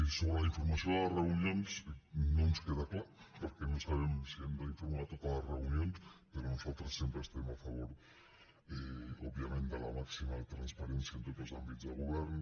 sobre la informació de les reunions no ens queda clar perquè no sabem si hem d’informar de totes les reunions però nosaltres sempre estem a favor òbviament de la màxima transparència en tots els àmbits de govern